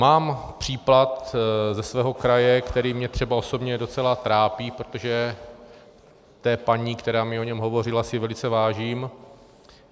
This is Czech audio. Mám případ ze svého kraje, který mě třeba osobně docela trápí, protože té paní, která mi o něm hovořila, si velice vážím.